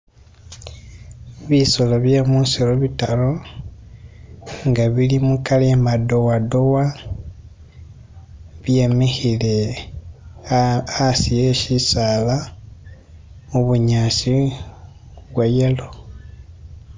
Bisoolo bye musiru bitaru, inga bili mu color iye madowadowa, byemikile hasi he'tsisaala, mubunyasi bwayelo